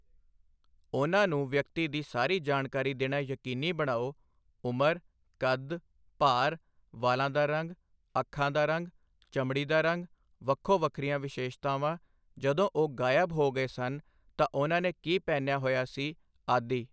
ਉਹਨਾਂ ਨੂੰ ਵਿਅਕਤੀ ਦੀ ਸਾਰੀ ਜਾਣਕਾਰੀ ਦੇਣਾ ਯਕੀਨੀ ਬਣਾਓ ਉਮਰ, ਕੱਦ, ਭਾਰ, ਵਾਲਾਂ ਦਾ ਰੰਗ, ਅੱਖਾਂ ਦਾ ਰੰਗ, ਚਮੜੀ ਦਾ ਰੰਗ, ਵੱਖੋ ਵੱਖਰੀਆਂ ਵਿਸ਼ੇਸ਼ਤਾਵਾਂ, ਜਦੋਂ ਉਹ ਗਾਇਬ ਹੋ ਗਏ ਸਨ ਤਾਂ ਉਹਨਾਂ ਨੇ ਕੀ ਪਹਿਨਿਆ ਹੋਇਆ ਸੀ, ਆਦਿ।